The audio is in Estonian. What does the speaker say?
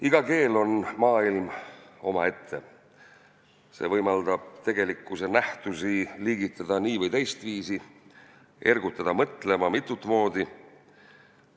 "Iga keel on maailm omaette, see võimaldab tegelikkuse nähtusi liigitada nii- või teistviisi, ergutada mõtlema mitut moodi.